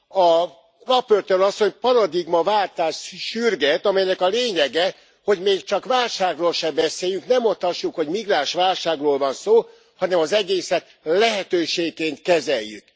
A raportőr asszony paradigmaváltást sürget, amelynek a lényege, hogy még csak válságról se beszéljünk, ne mondhassuk, hogy migránsválságról van szó, hanem az egészet lehetőségként kezeljük.